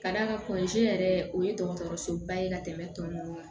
Ka d'a kan yɛrɛ o ye dɔgɔtɔrɔsoba ye ka tɛmɛ tɔ ninnu kan